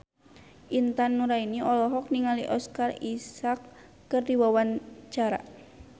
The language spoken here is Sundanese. Intan Nuraini olohok ningali Oscar Isaac keur diwawancara